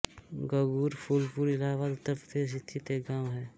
गंगूर फूलपुर इलाहाबाद उत्तर प्रदेश स्थित एक गाँव है